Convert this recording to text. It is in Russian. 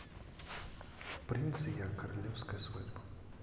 принц и я королевская свадьба